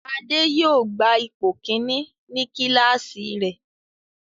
Ade yóò gba ipò kìíní ní kíláàsì rẹ̀.